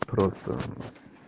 просто